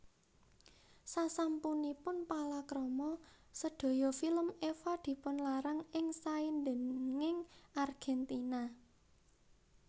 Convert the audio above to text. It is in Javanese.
Sasampunipun palakrama sedaya film Eva dipunlarang ing saindhenging Argentina